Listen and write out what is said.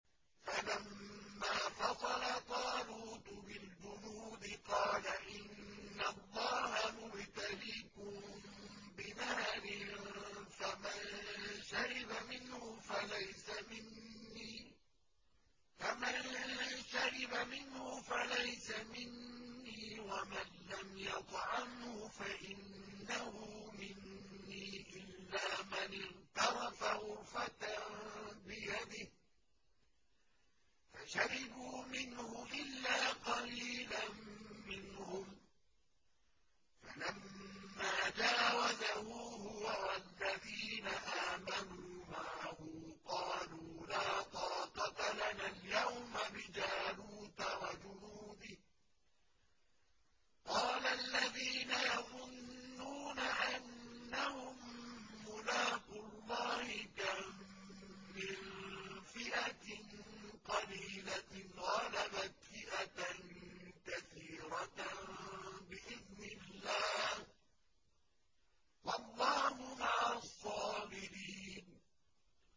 فَلَمَّا فَصَلَ طَالُوتُ بِالْجُنُودِ قَالَ إِنَّ اللَّهَ مُبْتَلِيكُم بِنَهَرٍ فَمَن شَرِبَ مِنْهُ فَلَيْسَ مِنِّي وَمَن لَّمْ يَطْعَمْهُ فَإِنَّهُ مِنِّي إِلَّا مَنِ اغْتَرَفَ غُرْفَةً بِيَدِهِ ۚ فَشَرِبُوا مِنْهُ إِلَّا قَلِيلًا مِّنْهُمْ ۚ فَلَمَّا جَاوَزَهُ هُوَ وَالَّذِينَ آمَنُوا مَعَهُ قَالُوا لَا طَاقَةَ لَنَا الْيَوْمَ بِجَالُوتَ وَجُنُودِهِ ۚ قَالَ الَّذِينَ يَظُنُّونَ أَنَّهُم مُّلَاقُو اللَّهِ كَم مِّن فِئَةٍ قَلِيلَةٍ غَلَبَتْ فِئَةً كَثِيرَةً بِإِذْنِ اللَّهِ ۗ وَاللَّهُ مَعَ الصَّابِرِينَ